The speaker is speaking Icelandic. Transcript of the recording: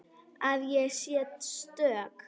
Að ég sé stök.